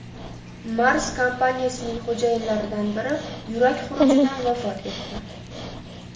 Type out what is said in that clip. Mars kompaniyasining xo‘jayinlaridan biri yurak xurujidan vafot etdi.